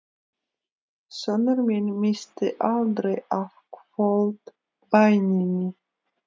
Sonur minn missti aldrei af kvöldbæninni